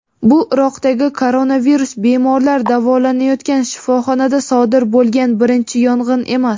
bu Iroqdagi koronavirus bemorlar davolanayotgan shifoxonada sodir bo‘lgan birinchi yong‘in emas.